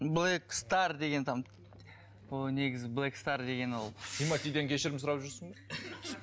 блэк стар деген там ол негізі блэк стар деген ол тиматиден кешірім сұрап жүрсің бе